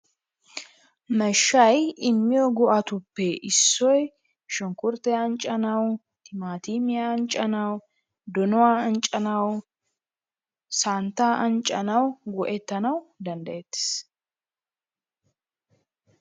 Mashshay immiyo go'atuppe issoy shunkkurttiya anccanawu, timaaatimmiya anccanawu, donuwa anccanawu, santaa anccanawu go'etanawu danddayetees.